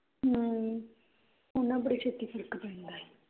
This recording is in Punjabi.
ਹਮ ਉਹਨਾ ਬੜੀ ਛੇਤੀ ਫਰਕ ਪੈਂਦਾ ਐ